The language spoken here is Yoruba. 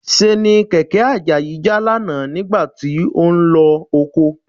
Ṣéènì kẹ̀kẹ́ Àjàyí já lánàá nígbà tí ó ń lọ oko